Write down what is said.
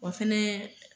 O fɛnɛ